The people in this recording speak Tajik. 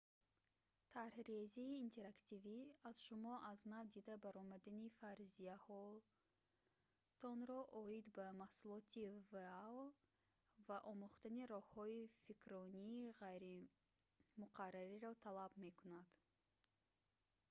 тарҳрезии интерактивӣ аз шумо аз нав дида баромадани фарзияҳоятонро оид ба маҳсулоти вао ва омӯхтани роҳҳои фикрронии ғайримуқаррариро талаб мекунад